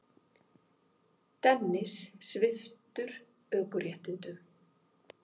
Dennis sviptur ökuréttindum